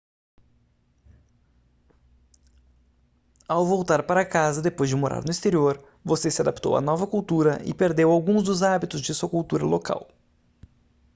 ao voltar para casa depois de morar no exterior você se adaptou à nova cultura e perdeu alguns dos hábitos de sua cultura local